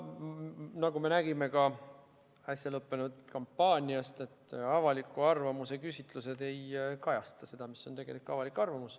Nagu me nägime äsja lõppenud kampaaniast, ei kajasta avaliku arvamuse küsitlused seda, mis on tegelik avalik arvamus.